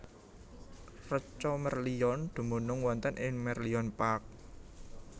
Reca Merlion dumunung wonten ing Merlion Park